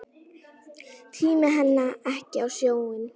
Tími henni ekki á sjóinn!